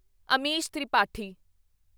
Amish Tripathi